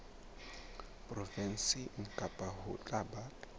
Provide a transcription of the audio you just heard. provenseng kang ho tla ba